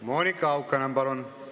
Monika Haukanõmm, palun!